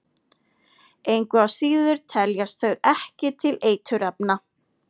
Engu að síður teljast þau ekki til eiturefna.